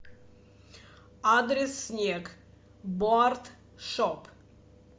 адрес снег боардшоп